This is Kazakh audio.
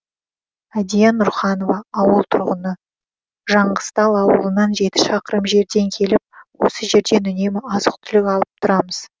әдия нұрханова ауыл тұрғыны жаңғызтал ауылынан жеті шақырым жерден келіп осы жерден үнемі азық түлік алып тұрамыз